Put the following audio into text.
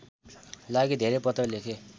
लागि धेरै पत्र लेखे